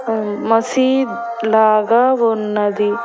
And మసీద్ లాగా ఉన్నది.